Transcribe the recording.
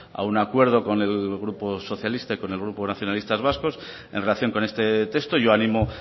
a un acuerdo con el grupo socialista y con el grupo nacionalistas vascos en relación con este texto yo animo